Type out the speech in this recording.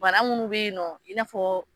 Bana munnu be yen nɔ, i n'a fɔ